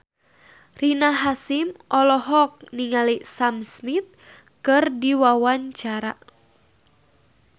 Rina Hasyim olohok ningali Sam Smith keur diwawancara